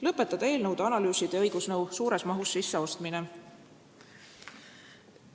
Lõpetada eelnõude, analüüside ja õigusnõu suures mahus sisseostmine.